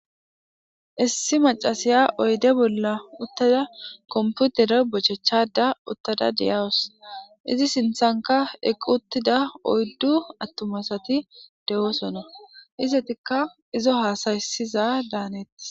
Issi macasiya oyde bolla uttada komputere bochechada uttada deyawus izi sinthanka eq uttida oyddu attumasati de7oosona izatikka izo haasayisiza daanettis.